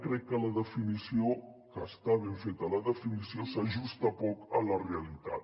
crec que la definició que està ben feta s’ajusta poc a la realitat